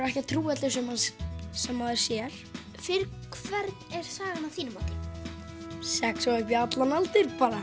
ekki að trúa öllu sem sem maður sér fyrir hvern er sagan að þínu mati sex og upp í allan aldur bara